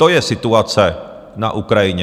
To je situace na Ukrajině.